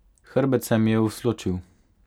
Hrbet se mi je usločil.